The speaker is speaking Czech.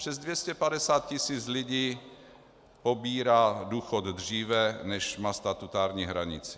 Přes 250 tisíc lidí pobírá důchody dříve, než má statutární hranici.